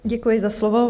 Děkuji za slovo.